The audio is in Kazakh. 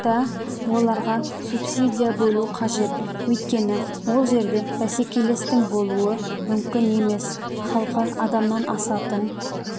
да оларға субсидия бөлу қажет өйткені ол жерде бәсекелестің болуы мүмкін емес халқы адамнан асатын